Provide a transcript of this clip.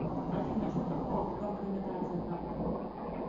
афина что такое компрометация карты